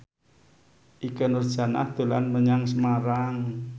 Ikke Nurjanah dolan menyang Semarang